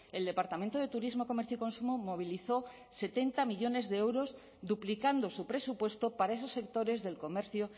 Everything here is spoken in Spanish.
el departamento de turismo comercio y consumo movilizó setenta millónes de euros duplicando su presupuesto para esos sectores del comercio